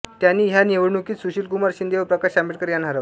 त्यांनी ह्या निवडणुकीत सुशीलकुमार शिंदे व प्रकाश आंबेडकर यांना हरवले